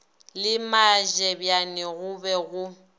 le matlebjane go be go